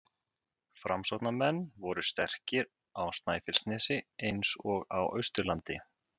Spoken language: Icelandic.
Framsóknarmenn voru sterkir á Snæfellsnesi eins og á Austurlandi.